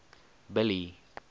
billy